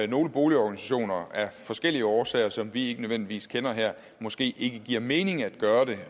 nogle boligorganisationer af forskellige årsager som vi ikke nødvendigvis kender her måske ikke giver mening at gøre det